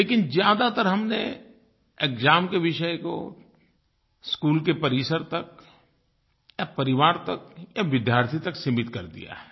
लेकिन ज़्यादातर हमने एक्साम के विषय को स्कूल के परिसर तक या परिवार तक या विद्यार्थी तक सीमित कर दिया है